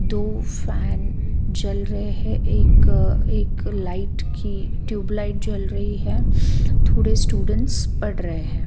दो फैन जल रहे हैं एक एक लाईट की ट्यूब लाईट जल रही है थोड़े स्टूडेंट्स पढ़ रहे हैं।